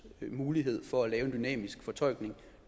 mulighed for at lave en dynamisk fortolkning